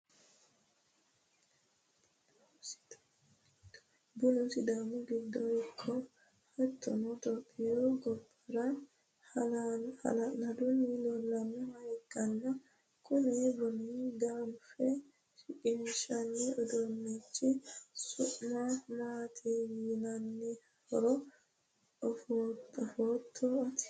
bunu sidaami giddo ikko hattono topiyu gobbara hala'ladunni leelannoha ikkanna, kuni buna ganfe shiqinshanni uduunnichi su'mi maati yinanihoro afootto ati?